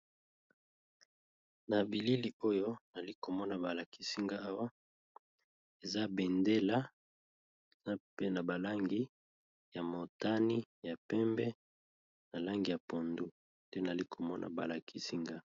Na bilili oyo nali komona ba lakisi nga awa eza bendela na mpe na ba langi ya motani, ya pembe, na langi ya pondu, te nali komona ba lakisi nga.